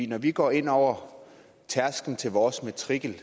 når vi går ind over tærsklen til vores matrikel